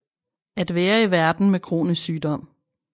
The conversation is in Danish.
At være i verden med kronisk sygdom